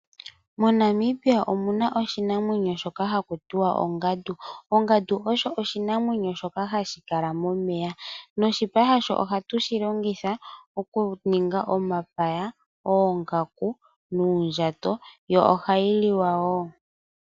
MoNamibia omuna oshinamwenyo shoka haku tiwa ongandu ongandu osho oshinamwenyo shoka hashi kala momeya noshipa shasho ohatushi longithavokuninga uundjato, omapaya yo ohayi liwa woo.